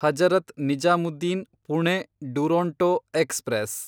Hazrat Nizamuddin Pune Duronto express